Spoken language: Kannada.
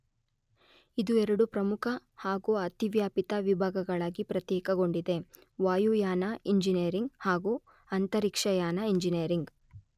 ಇದು ಎರಡು ಪ್ರಮುಖ ಹಾಗು ಅತಿವ್ಯಾಪಿತ ವಿಭಾಗಗಳಾಗಿ ಪ್ರತ್ಯೇಕಗೊಂಡಿದೆ: ವಾಯುಯಾನ ಇಂಜಿನಿಯರಿಂಗ್ ಹಾಗು ಅಂತರಿಕ್ಷಯಾನ ಇಂಜಿನಿಯರಿಂಗ್.